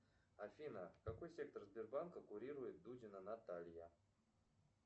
афина какой сектор сбербанка курирует дудина наталья